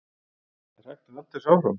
Er hægt að halda þessu áfram?